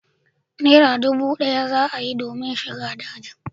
Naira dubu d'aya domin shiga dajin